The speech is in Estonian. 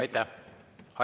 Aitäh!